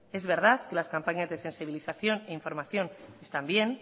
es verdad que las campañas de sensibilización e información están bien